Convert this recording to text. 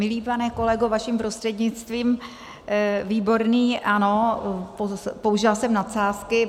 Milý pane kolego, vaším prostřednictvím, Výborný, ano, použila jsem nadsázky.